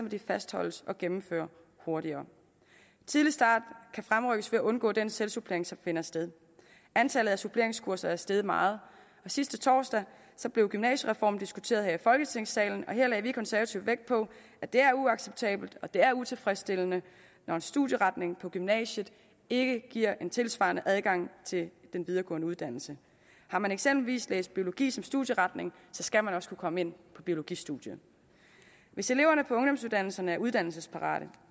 at de fastholdes og gennemfører hurtigere tidlig start kan fremrykkes ved at undgå den selvsupplering som finder sted antallet af suppleringskurser er steget meget og sidste torsdag blev gymnasiereformen diskuteret her i folketingssalen her lagde vi konservative vægt på at det er uacceptabelt og at det er utilfredsstillende når en studieretning på gymnasiet ikke giver en tilsvarende adgang til en videregående uddannelse har man eksempelvis læst biologi som studieretning skal man også kunne komme ind på biologistudiet hvis eleverne på ungdomsuddannelserne er uddannelsesparate